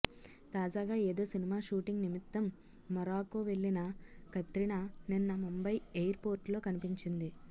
తాజాగా ఏదో cinema shooting నిమిత్తం మొరాకో వెళ్ళిన కత్రినా నిన్న ముంబై ఎయిర్ పోర్ట్ లో కనిపించింది